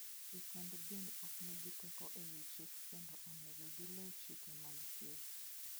Jotend din ok nigi teko e wi chik kendo onego giluw chike mag thieth.